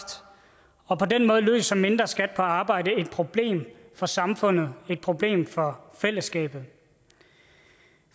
og på den måde løser mindre skat på arbejde et problem for samfundet et problem for fællesskabet